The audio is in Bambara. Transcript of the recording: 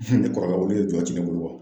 ne kɔrɔkɛ olu ye ka ci ne bolo